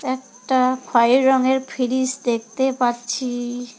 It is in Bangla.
একটা খয়রি রঙের ফিরিজ দেখতে পাচ্ছি-ই।